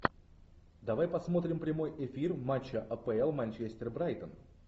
давай посмотрим прямой эфир матча апл манчестер брайтон